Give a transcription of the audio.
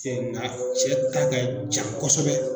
Cɛ ŋa cɛ ta ka jan kɔsɛbɛ